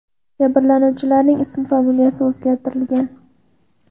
Jabrlanuvchilarning ismi familiyasi o‘zgartirilgan.